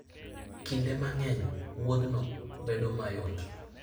Kinde mang'eny, wuodhno bedo mayot.